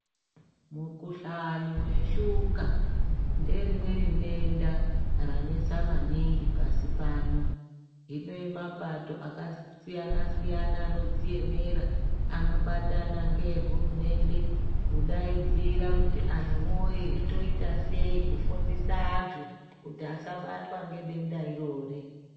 Mukuhlani weshuka ngerimweni denda ranesa maningi pashi pano rine mapato akasiyana siyana anodziemera anobata ngehurumende kudaidzira kuti antuwoye toitasei kufundisa antu kuti asabatwa ngedenda irori.